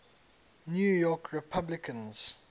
new york republicans